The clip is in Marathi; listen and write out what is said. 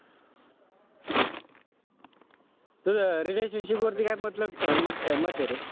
तुझं relationship वरती काय मत मत ए रे?